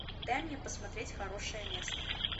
дай мне посмотреть хорошее место